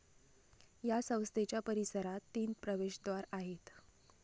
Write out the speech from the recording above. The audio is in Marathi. या संस्थेच्या परीसरात तीन प्रवेशद्वार आहेत.